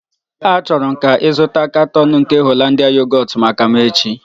Achọrọ m ka ị zụta katọn nke Yogọt Hollandia maka m echi!